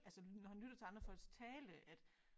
Altså når han lytter til andre folks tale at